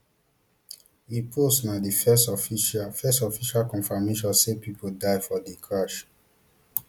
im post na di first official first official confirmation say pipo die for di crush